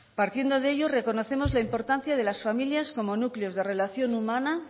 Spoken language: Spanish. partiendo de ello reconocemos la importancia de las familias como núcleos de relación humana